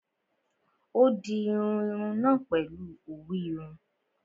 Ó dirun irun náà pèlu òwú irun